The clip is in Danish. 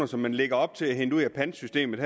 som man lægger op til at hente ud af pantsystemet